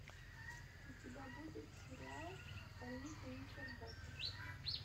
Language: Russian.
у тебя будет сериал больница никербокер